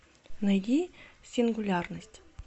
найди сингулярность